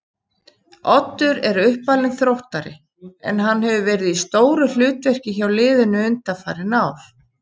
Oddur er uppalinn Þróttari en hann hefur verið í stóru hlutverki hjá liðinu undanfarin ár.